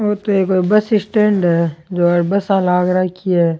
ये तो कोई बस स्टैंड है जहा बसा लाग रखी है।